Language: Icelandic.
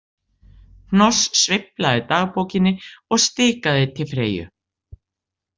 Hnoss sveiflaði dagbókinni og stikaði til Freyju.